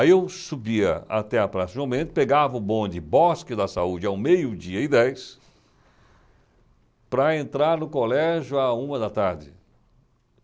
Aí eu subia até a praça João, pegava o bonde Bosque da Saúde ao meio-dia e dez, para entrar no colégio a uma da tarde.